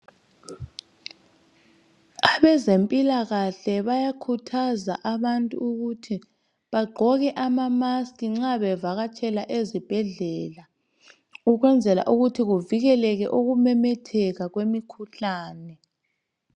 abezempilakahle bayakhuthaza abantu ukuthi bagqoke ama mask nxa bevakatshela ezibhedlela ukwenza ukuthi kuvikeleke ukumemetheka kwemikhuhlane